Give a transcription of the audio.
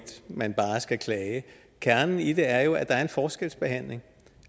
man bare skal klage kernen i det er jo at der er en forskelsbehandling